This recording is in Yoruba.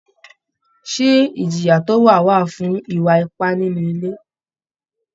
Ṣé ìjìyà tó tó wà fún ìwà ipà nínú ilé?